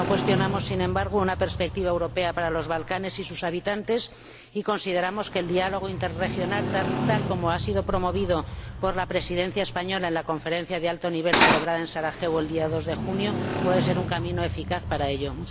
No cuestionamos, sin embargo, una perspectiva europea para los Balcanes y sus habitantes y consideramos que el diálogo interregional, tal como ha sido promovido por la Presidencia española del Consejo en la Conferencia de Alto Nivel celebrada en Sarajevo el día 2 de junio, puede ser un camino eficaz para ello.